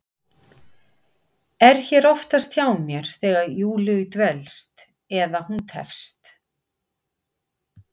Er hér oftast hjá mér þegar Júlíu dvelst, eða hún tefst.